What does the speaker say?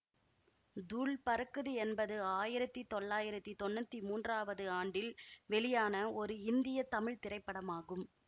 தூள் பறக்குது என்பது ஆயிரத்தி தொள்ளாயிரத்தி தொன்னூத்தி மூன்றாவது ஆண்டில் வெளியான ஒரு இந்திய தமிழ் திரைப்படமாகும்